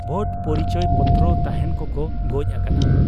ᱵᱷᱳᱴ ᱯᱚᱨᱤᱪᱚᱭ ᱯᱚᱛᱨᱚ ᱛᱟᱦᱮᱸᱱ ᱠᱚ ᱠᱚ ᱜᱚᱡ ᱟᱠᱟᱱᱟ ᱾